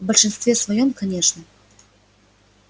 в большинстве своём конечно